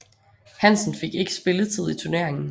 Hansen fik ikke spilletid i turneringen